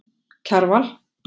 Kjarval